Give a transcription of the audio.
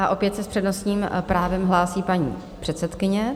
A opět se s přednostním právem hlásí paní předsedkyně.